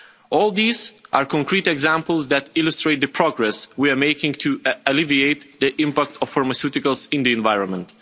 All these are concrete examples that illustrate the progress we are making to alleviate the impact of pharmaceuticals in the environment.